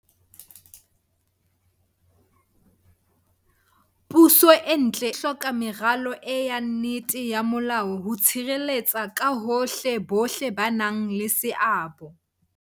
Puso e ntle e hloka meralo eya nnete ya molao ho tshireletsa ka hohle bohle ba nang le seabo.